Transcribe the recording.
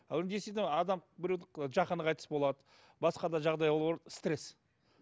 адам біреу жақыны қайтыс болады басқа да жағдай ол стресс